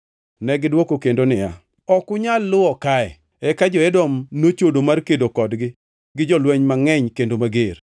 Negidwoko kendo niya, “Ok unyal luwo kae.” Eka Edom nochodo mar kedo kodgi gi jolweny mangʼeny kendo mager.